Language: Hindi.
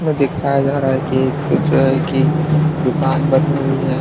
दिखाया जा रहा है कि एक जो की दुकान बनी हुई है।